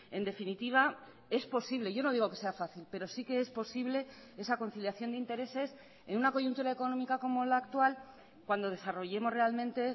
en definitiva es posible yo no digo que sea fácil pero sí que es posible esa conciliación de intereses en una coyuntura económica como la actual cuando desarrollemos realmente